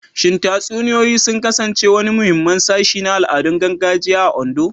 Shin tatsuniyoyi sun kasance wani muhimmin sashi na al'adun gargajiya a Ondo?